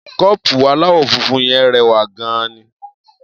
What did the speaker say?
Kọ́ọ̀pù aláwọ̀ funfun yẹn rẹwà gan-an.